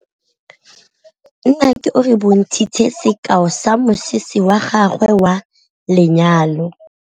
Nnake o re bontshitse sekaô sa mosese wa gagwe wa lenyalo.